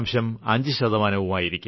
5 ശതമാനവും ആയിരിക്കും